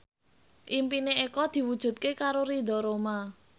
impine Eko diwujudke karo Ridho Roma